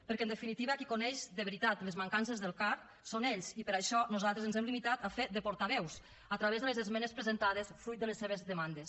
perquè en definitiva qui coneix de veritat les mancances del car són ells i per això nosaltres ens hem limitat a fer de portaveus a través de les esmenes presentades fruit de les seves demandes